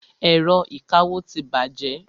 Ẹ̀rọ ìkawó ti bàjẹ́.